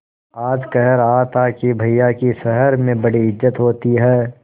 आज कह रहा था कि भैया की शहर में बड़ी इज्जत होती हैं